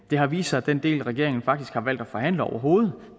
det har vist sig at den del regeringen faktisk har valgt at forhandle overhovedet